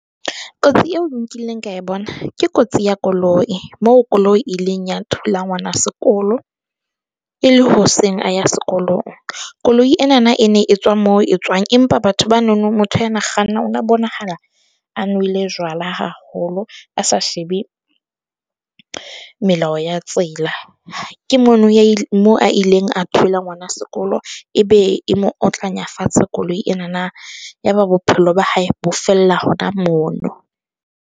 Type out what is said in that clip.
Kotsi eo e nkileng ka bona ke kotsi ya koloi. Moo koloi, e ileng ya thula ngwana sekolo e le hoseng a ya sekolong. Koloi e na na e ne e tswa moo e tswang. Empa batho ba na no, motho ya na kganna o na bonahala a nwele jwala haholo, a sa shebe melao ya tsela. Ke mono mo a ileng a thula ngwana sekolo ebe e mo otlanya fatshe koloi ena na ya ba bophelo ba hae bo fella hona mono.